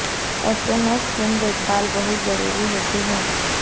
ऐसे में स्किन की देखभाल बहुत जरुरी होती हैं